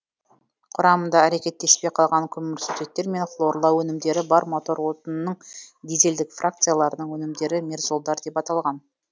құрамында әрекеттеспей қалған көмірсутектер мен хлорлау өнімдері бар мотор отынының дизельдік фракцияларының өнімдері мерзолдар деп аталған